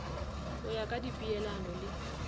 go ya ka dipeelano le